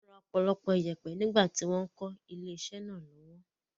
Wọ́n ra ọ̀pọ̀lọpọ̀ ìyèpẹ̀ nígbà tí wọ́n ń kọ́ ilé-iṣẹ́ náà lọ́wọ́.